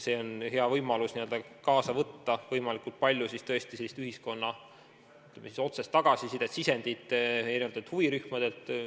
See on hea võimalus saada võimalikult palju ühiskonna otsest tagasisidet, sisendit eri huvirühmadelt.